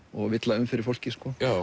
og villa um fyrir fólki